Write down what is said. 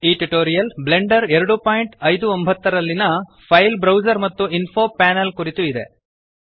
ಈ tutorial Blender 259 ರಲ್ಲಿಯ file browser ಮತ್ತು ಇನ್ಫೊ ಪ್ಯಾನೆಲ್ ಕುರಿತು ಇದೆ